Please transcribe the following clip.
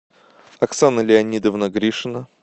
оксана леонидовна гришина